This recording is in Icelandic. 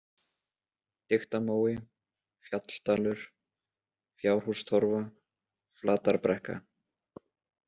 Diktamói, Fjalldalur, Fjárhústorfa, Flatarbrekka